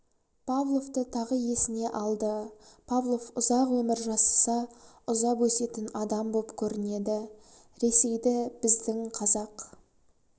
павловты тағы есіне алды павлов ұзақ өмір жасаса ұзап өсетін адам боп көрінеді ресейді біздің қазақ